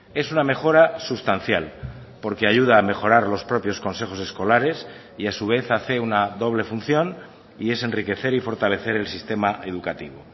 es una mejora sustancial porque ayuda a mejorar los propios consejos escolares y a su vez hace una doble función y es enriquecer y fortalecer el sistema educativo